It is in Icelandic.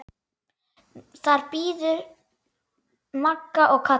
Þar biðu Magga og Kata.